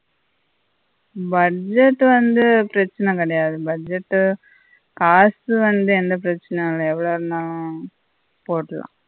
budget வந்து பிரச்சினை கிடையாது budget காசு வந்து எந்த பிரச்சினையும் இல்ல எவ்வளவு இருந்தாலும் போட்டுடலாம்